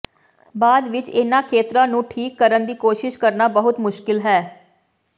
ਬਾਅਦ ਵਿਚ ਇਨ੍ਹਾਂ ਖੇਤਰਾਂ ਨੂੰ ਠੀਕ ਕਰਨ ਦੀ ਕੋਸ਼ਿਸ਼ ਕਰਨਾ ਬਹੁਤ ਮੁਸ਼ਕਲ ਹੈ